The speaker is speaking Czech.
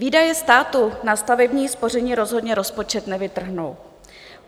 Výdaje státu na stavební spoření rozhodně rozpočet nevytrhnou.